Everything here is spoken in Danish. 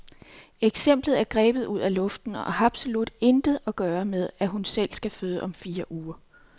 Eksemplet er grebet ud af luften, og har absolut intet at gøre med, at hun selv skal føde om fire uger.